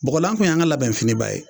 bɔgɔlan kun y'an ka labɛnfiniba ye